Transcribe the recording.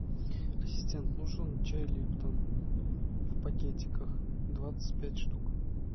ассистент нужен чай липтон в пакетиках двадцать пять штук